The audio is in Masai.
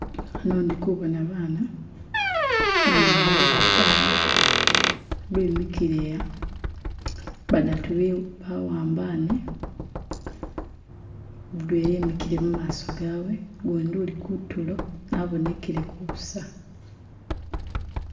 Hano indi kubona bana, bana bali batano, bimikile, badatu bah'ambane, mudwela emikile mumaso gawe, gundi ali kutulo abonekelele busa